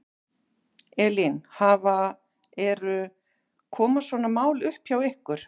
Elín, hafa, eru, koma svona mál upp hjá ykkur?